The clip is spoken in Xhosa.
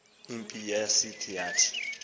impi yasisa yathi